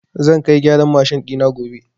Zan kai gyaran mashin ɗina gobe.